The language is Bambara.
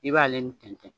I b'ale nin tɛntɛn